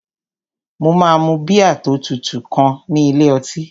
Mo máa mu bíà tó tutù kan ní ilé ọtí